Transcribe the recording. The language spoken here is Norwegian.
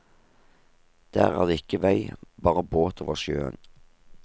Der er det ikke vei, bare båt over sjøen.